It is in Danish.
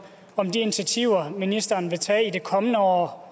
om de initiativer ministeren vil tage i det kommende år